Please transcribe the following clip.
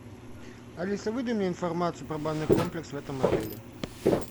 алиса выдай мне информацию про банный комплекс в этом отеле